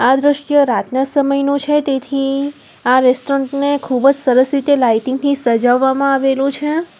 આ દ્રશ્ય રાતના સમયનુ છે તેથી આ રેસ્ટોરન્ટ ને ખૂબજ સરસ રીતે લાઇટિંગ થી સજાવવામાં આવેલું છે.